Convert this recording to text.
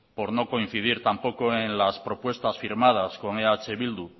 por no coincidir tampoco en las propuestas firmadas con eh bildu